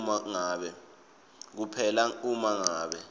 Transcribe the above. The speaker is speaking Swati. kuphela uma ngabe